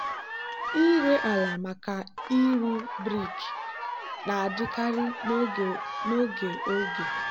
ịre ala maka ịrụ brik na-adịkarị n'oge oge.